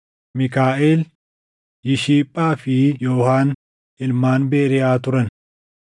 Miikaaʼel, Yishiphaa fi Yoohaan ilmaan Beriiyaa turan.